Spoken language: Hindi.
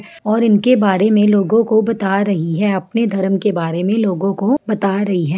और इनके बारे मे लोगों को बता रही है अपने धरम के बारे मे लोगों को बता रही है।